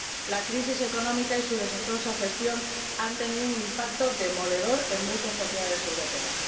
La crisis económica y su desastrosa gestión han tenido un impacto demoledor en muchas sociedades europeas